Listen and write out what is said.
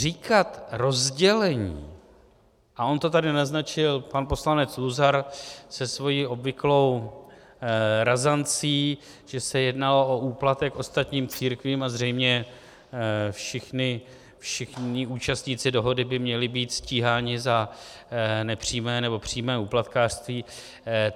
Říkat rozdělení - a on to tady naznačil pan poslanec Luzar se svou obvyklou razancí, že se jednalo o úplatek ostatním církvím a zřejmě všichni účastníci dohody by měli být stíháni za nepřímé nebo přímé úplatkářství.